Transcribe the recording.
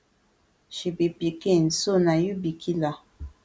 she be pikin so na you be killer